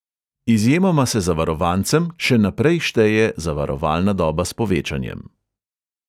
Izjemoma se zavarovancem še naprej šteje zavarovalna doba s povečanjem.